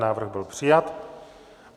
Návrh byl přijat.